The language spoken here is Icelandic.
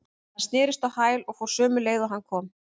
Hann snerist á hæl og fór sömu leið og hann kom.